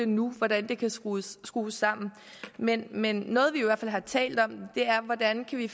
nu hvordan det kan skrues skrues sammen men men noget vi i hvert fald har talt om er hvordan vi